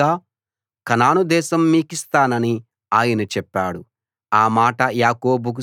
కొలిచిన వారసత్వంగా కనాను దేశం మీకిస్తానని ఆయన చెప్పాడు